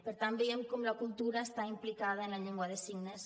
per tant veiem com la cultura està implicada en la llengua de signes